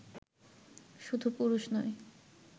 শুধু পুরুষ নয়